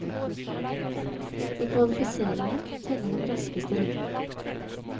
I kvalifiseringen teller den raskeste runden.